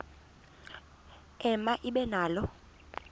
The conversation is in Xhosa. ema ibe nalo